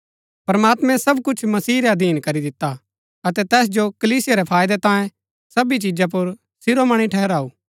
प्रमात्मैं सब कुछ मसीह रै अधीन करी दिता अतै तैस जो कलीसिया रै फायदै तांये सबी चीजा पुर शिरोमणि ठहराऊ